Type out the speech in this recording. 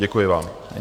Děkuji vám.